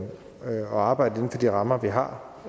arbejde inden for de rammer vi har